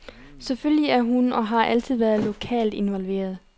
Selvfølgelig er hun og har altid været lokalt involveret.